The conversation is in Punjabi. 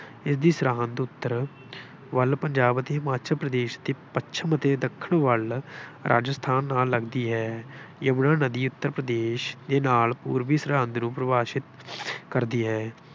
ਇਸਦੀ ਸਰਹੱਦ ਉੱਤਰ ਵੱਲ ਪੰਜਾਬ ਅਤੇ ਹਿਮਾਚਲ ਪ੍ਰਦੇਸ਼ ਅਤੇ ਪੱਛਮ ਅਤੇ ਦੱਖਣ ਵੱਲ ਰਾਜਸਥਾਨ ਨਾਲ ਲੱਗਦੀ ਹੈ। ਯਮੁਨਾ ਨਦੀ ਉੱਤਰ ਪ੍ਰਦੇਸ਼ ਦੇ ਨਾਲ ਪੂਰਬੀ ਸਰਹੱਦ ਨੂੰ ਪਰਿਭਾਸ਼ਿਤ ਕਰਦੀ ਹੈ।